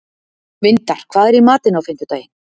Vindar, hvað er í matinn á fimmtudaginn?